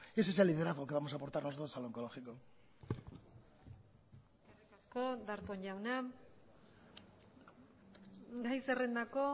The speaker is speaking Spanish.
ese es el liderazgo que vamos a aportar nosotros al oncológico eskerrik asko darpón jauna gai zerrendako